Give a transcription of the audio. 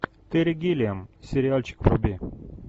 терри гиллиам сериальчик вруби